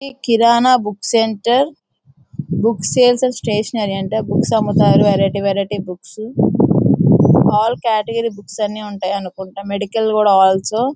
ఈ Kirana book centre books sales and stationery అంట books అమ్ముతారు వెరైటీ-వెరైటీ బుక్స్ అల్లా కేటగిరీ బుక్స్ ఉంటాయనుకుంటా మెడికల్ గూడా అల్సొ --